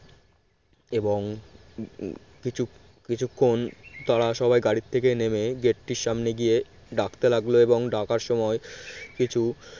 এবং কিছু কিছুক্ষণ তারা সবাই গাড়ি থেকে নেমে gate র সামনে গিয়ে ডাকতে লাগলো এবং ডাকার সময় কিছু